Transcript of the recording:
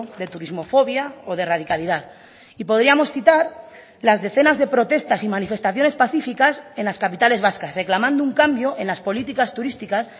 de turismofobia o de radicalidad y podríamos citar las decenas de protestas y manifestaciones pacíficas en las capitales vascas reclamando un cambio en las políticas turísticas